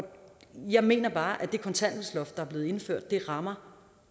jeg mener bare at det kontanthjælpsloft der er blevet indført rammer